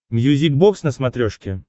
мьюзик бокс на смотрешке